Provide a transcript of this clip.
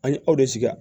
An ye aw de sigi